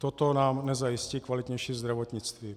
Toto nám nezajistí kvalitnější zdravotnictví.